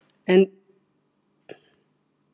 En tekið skal fram að niðurstöður um þetta eru misvísandi.